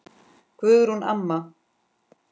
Guðrún amma.